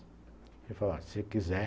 Ele falou assim, se quiser,